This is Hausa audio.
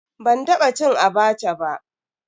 Ban taba cin "Abacha" ba.